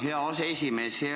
Hea aseesimees!